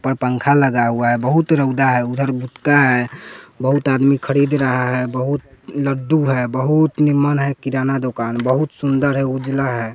पर पंखा लगा हुआ है बहुत रउदा है उधर गुतका है बहुत आदमी खरीद रहा है बहुत लड्डू है बहुत निमम्न है किराना दुकान बहुत सुंदर है उजला है।